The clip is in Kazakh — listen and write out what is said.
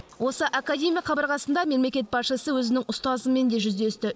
осы академия қабырғасында мемлекет басшысы өзінің ұстазымен де жүздесті